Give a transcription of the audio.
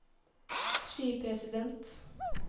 skipresident